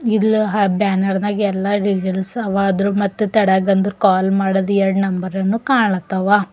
ಇಲ್ ಬ್ಯಾನರ್ ದಾಗ ಎಲ್ಲ ಡೀಟೇಲ್ಸ್ ಅವ ಅದುರ್ ಮತ್ತು ತಳಗ ಗಂದ್ರು ಕಾಲ್ ಮಾಡದ್ ಎರಡ್ ನಂಬರ್ ಅನು ಕಾಣ್ ತಾವ.